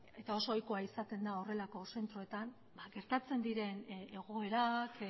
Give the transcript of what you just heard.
eta oso ohikoa izaten da horrelako zentroetan gertatzen diren egoerak